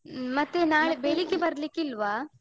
ಮತ್ತೆ ನಾಳೆ ಬೆಳಿಗ್ಗೆ ಬರ್ಲಿಕ್ಕಿಲ್ವಾ?